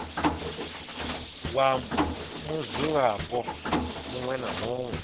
wa mudzulapo muṅwe na muṅwe